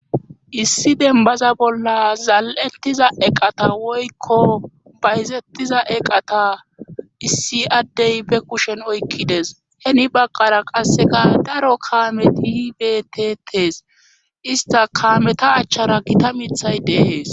Issi dembaza bolla zal7ettiza eqata woykko bayzettiza eqata issi addey be kushen oykkides heni baqqara qasseka daro kaameti hibetetes ista kameta achchara gita mithay dehees